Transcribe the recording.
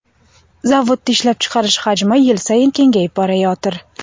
Zavodda ishlab chiqarish hajmi yil sayin kengayib borayotir.